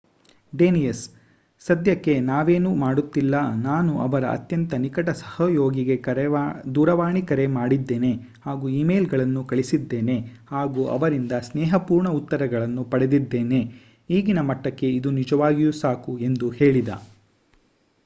Danius ಸಧ್ಯಕ್ಕೆ ನಾವೇನೂ ಮಾಡುತ್ತಿಲ್ಲ. ನಾನು ಅವರ ಅತ್ಯಂತ ನಿಕಟ ಸಹಯೋಗಿಗೆ ದೂರವಾಣಿ ಕರೆ ಮಾಡಿದ್ಡೇನೆ ಹಾಗೂ ಈಮೇಲ್‌ಗಳನ್ನು ಕಳಿಸಿದ್ದೇನೆ ಹಾಗೂ ಅವರಿಂದ ಸ್ನೇಹಪೂರ್ಣ ಉತ್ತರಗಳನ್ನು ಪಡೆದಿದ್ದೇನೆ. ಈಗಿನ ಮಟ್ಟಕ್ಕೆ ಇದು ನಿಜವಾಗಿಯೂ ಸಾಕು ಎಂದು ಹೇಳಿದ